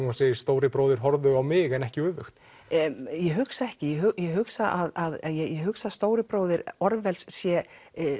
og segjum stóri bróðir horfðu á mig en ekki öfugt ég hugsa ekki ég hugsa að hugsa að stóri bróðir Orwells sé